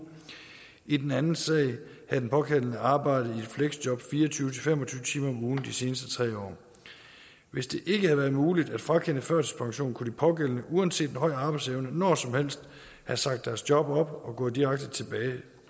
i den anden sag havde den pågældende arbejdet i et fleksjob fire og tyve til fem og tyve timer om ugen de seneste tre år hvis det ikke havde været muligt at frakende førtidspensionen kunne de pågældende uanset en høj arbejdsevne når som helst have sagt deres job op og gå direkte tilbage